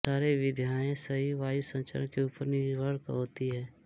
सारे विधियाँ सही वायु संचरण के ऊपर निर्भर होती हैं